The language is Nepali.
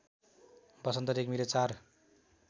वसन्त रेग्मीले ४